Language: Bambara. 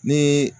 Ni